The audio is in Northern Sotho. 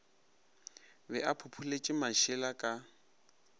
be a phopholetše mašela ka